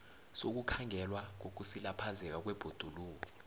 sokukhandelwa kokusilaphazeka kwebhoduluko